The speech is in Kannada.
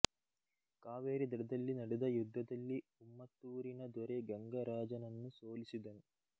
ಕಾವೇರಿ ದಡದಲ್ಲಿ ನಡೆದ ಯುದ್ಧದಲ್ಲಿ ಉಮ್ಮತ್ತೂರಿನ ದೊರೆ ಗಂಗರಾಜನನ್ನು ಸೋಲಿಸಿದನು